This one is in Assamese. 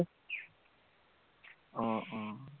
আহ আহ